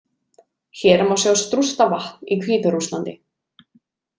Hér má sjá Strusta-vatn í Hvíta-Rússlandi.